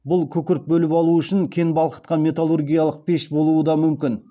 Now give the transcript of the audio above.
бұл күкірт бөліп алу үшін кен балқытқан металлургиялық пеш болуы да мүмкін